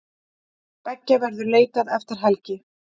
Beggja verður leitað eftir helgi.